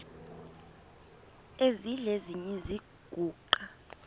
esidl eziny iziguqa